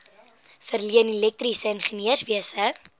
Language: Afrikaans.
verleen elektriese ingenieurswese